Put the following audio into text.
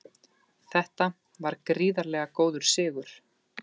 Þetta var gríðarlega góður sigur